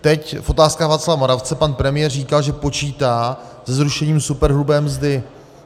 Teď v Otázkách Václava Moravce pan premiér říkal, že počítá se zrušením superhrubé mzdy.